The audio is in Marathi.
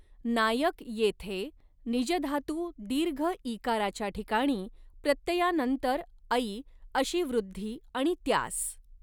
नायकः येथे निज धातू दीर्घ इ काराच्या ठिकाणी प्रत्ययानंतर ऐ अशी वृद्धि आणि त्यास